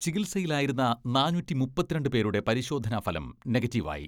ചികിത്സയിലായിരുന്ന നാനൂറ്റി മുപ്പത്തിരണ്ട് പേരുടെ പരിശോധനാ ഫലം നെഗറ്റീവായി.